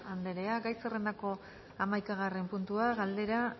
anderea gai zerrendako hamaikagarren puntua galdera